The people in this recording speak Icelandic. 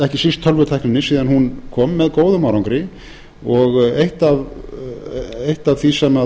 ekki síst tölvutækninni síðan hún kom með góðum árangri eitt af því sem